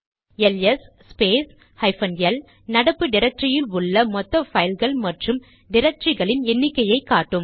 LS space hyphen L நடப்பு டிரக்டரியில் உள்ள மொத்த பைல்ஸ் மற்றும் டிரக்டரிகளின் எண்ணிக்கையை காட்டும்